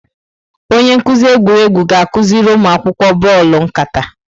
Onye nkuzi egwuregwu ga-akụziri ụmụ akwụkwọ bọọlụ nkata.